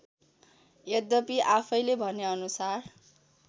यद्यपी आफैँले भनेअनुसार